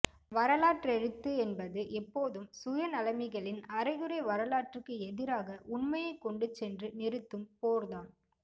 வரலாற்றெழுத்து என்பது எப்போதும் சுயநலமிகளின் அரைகுறை வரலாறுகளுக்கு எதிராக உண்மையைக்கொண்டு சென்று நிறுத்தும் போர்தான்